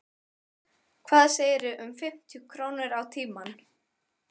Hvað segirðu um fimmtíu krónur á tímann?